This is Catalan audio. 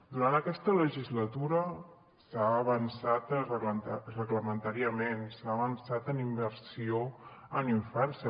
durant aquesta legislatura s’ha avançat reglamentàriament s’ha avançat en inversió en infància